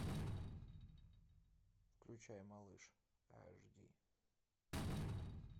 включай малыш аш ди